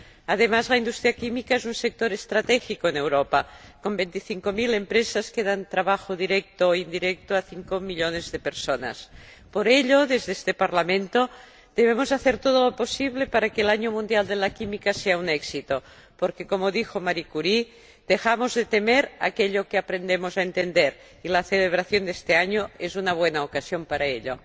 Además, la industria química es un sector estratégico en Europa, con veinticinco mil empresas que dan trabajo directo e indirecto a cinco millones de personas. Por ello, desde este Parlamento, debemos hacer todo lo posible para que el Año Mundial de la Química sea un éxito porque, como dijo Marie Curie, dejamos de temer aquello que aprendemos a entender, y la celebración de este año es una buena ocasión para ello.